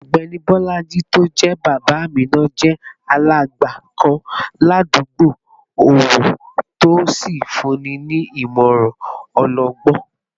Ọ̀gbẹ́ni Bolaji tó jẹ́ bàbá Amina jẹ́ alàgbà kan ládùúgbò ọ̀wọ̀ tó sì fúnni ní ìmọ̀ràn ọlọgbọ́n